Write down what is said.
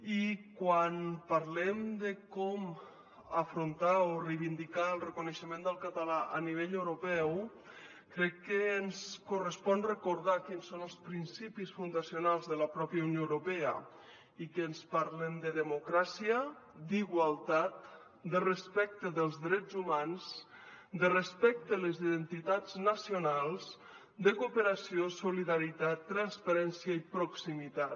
i quan parlem de com afrontar o reivindicar el reconeixement del català a nivell europeu crec que ens correspon recordar quins són els principis fundacionals de la pròpia unió europea i que ens parlen de democràcia d’igualtat de respecte dels drets humans de respecte a les identitats nacionals de cooperació solidaritat transparència i proximitat